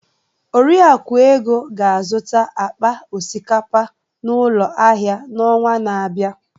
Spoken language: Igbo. Oriakụ Ego ga-azụta akpa osikapa n'ụlọ ahịa n'ọnwa na-abịa.